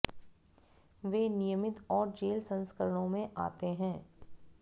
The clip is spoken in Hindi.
वे नियमित और जेल संस्करणों में आते हैं